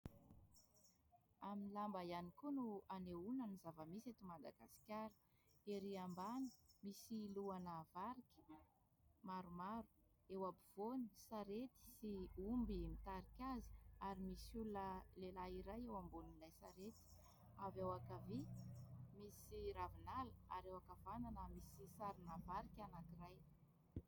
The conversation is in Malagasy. Amin'ny lamba ihany koa no anehoana ny zava-misy eto Madagasikara ery ambany misy lohana varika maromaro, eo ampovoany sarety sy omby mitarika azy ary misy olona lehilahy iray eo ambonin'ilay sarety, avy eo ankavia, misy ravinala ary eo ankavanana misy sarina varika anankiray.